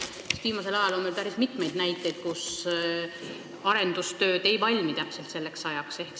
Viimasel ajal on meil päris mitmeid näiteid, et arendustööd ei valmi selleks ajaks, kui vaja on.